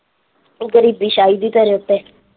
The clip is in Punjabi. ਗਰੀਬੀ ਛਾਈ ਦੀ ਤੇਰੇ ਉੱਤੇ।